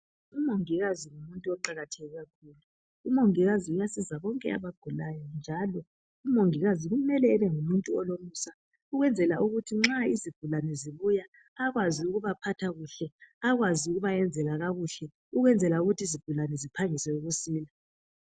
Umongikazi ngumuntu oqakatheke kakhulu. Umongikazi uyasiza bonke abagulayo njalo umongikazi kumele ebengumuntu olomusa ukwenzela ukuthi nxa izigulane zibuya akwazi ukubaphatha kuhle akwazi ukubayenzela kakuhle ukwenzela ukuthi izigulane ziphangise ukusila.